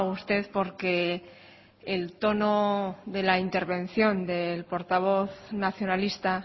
usted porque el tono de la intervención del portavoz nacionalista